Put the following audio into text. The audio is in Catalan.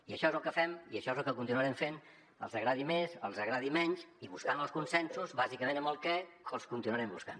i això és el que fem i això és el que continuarem fent els agradi més els agradi menys i buscant els consensos bàsicament amb el què que els continuarem buscant